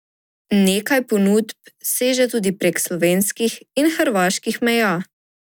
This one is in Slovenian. Nekaj ponudb seže tudi prek slovenskih in hrvaških meja.